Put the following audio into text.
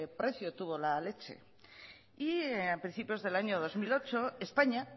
precio tuvo la leche y a principios del año dos mil ocho españa